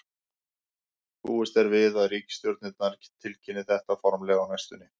Búist er við að ríkisstjórnirnar tilkynni þetta formlega á næstunni.